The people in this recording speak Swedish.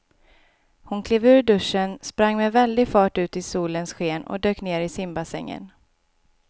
Hon klev ur duschen, sprang med väldig fart ut i solens sken och dök ner i simbassängen.